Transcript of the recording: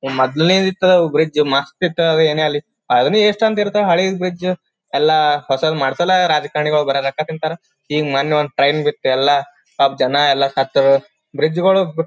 ಮೊದ್ಲು ಇದ್ದತ್ ಬ್ರಿಡ್ಜ್ ಮಸ್ತ್ ಇತ್ ಏನೇ ಆಗ್ಲಿ ಅದನ್ನ ಎಸ್ಟ್ ಅಂತ ಇರ್ತವು ಹಳೆ ಬ್ರಿಡ್ಜ್ ಎಲ್ಲ ಹೊಸಾದ್ ಮಾಡ್ಸಲ್ಲ ಎಲ್ಲ ರಾಜಕಾರಣಿಗಳು ಬರಿ ರೊಕ್ಕ ತಿಂತಾರ ಈಗ ಮೊನ್ನೆ ಒಂದ್ ಟ್ರೈನ್ ಬಿಟ್ಟು ಎಲ್ಲ ಸ್ವಲ್ಪ ಜನ ಎಲ್ಲ ಸತ್ತು ಬ್ರಿಡ್ಜ್ಗಳು --